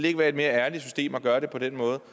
ikke være et mere ærligt system at gøre det på den måde